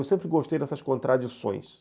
Eu sempre gostei dessas contradições.